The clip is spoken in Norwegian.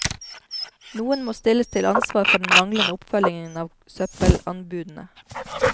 Noen må stilles til ansvar for den manglende oppfølgingen av søppelanbudene.